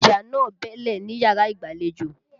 Ìjà náà bẹ́ẹ́lẹ̀ níyàrá ìgbàlejò.